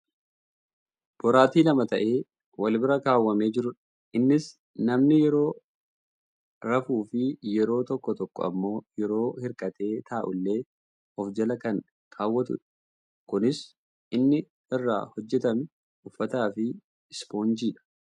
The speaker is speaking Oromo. Boraatii lama ta'ee wal bira kaawwamee jirudha. Innis namni yeroo rafuufi yeroo tokko tokko ammoo yeroo hirkatee taa'ullee of jala kan kaawwatudha. Kunis kan inni irraa hojjatame; uffata fi ispoonjiidha.